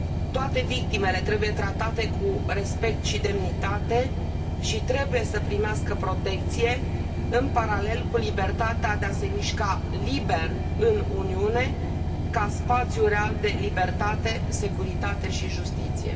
Toate victimele trebuie tratate cu respect și demnitate și trebuie să primească protecție în paralel cu libertatea de a se mișca liber în Uniune, ca spațiu real de libertate, securitate și justiție.